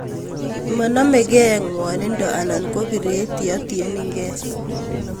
mamegegei ngaanindo anan ko piret yeatienenge